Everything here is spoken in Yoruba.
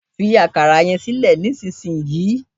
Fi akara yẹn sílẹ̀ nísinsin yìí